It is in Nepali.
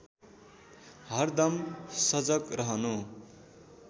हरदम सजग रहनु